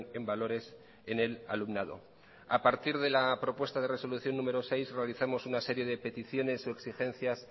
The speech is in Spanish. en valores en el alumnado a partir de la propuesta de resolución número seis realizamos una serie de peticiones y exigencias